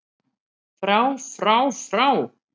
FRÁ FRÁ FRÁ